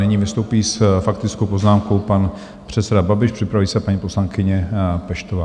Nyní vystoupí s faktickou poznámkou pan předseda Babiš, připraví se, paní poslankyně Peštová.